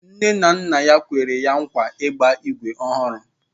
Nne na nna ya kwere ya nkwa ịgba ígwè ọhụrụ